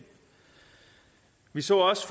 vi så også